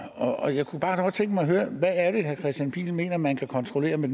og jeg kunne bare godt tænke mig at høre hvad er det herre kristian pihl lorentzen mener man kan kontrollere med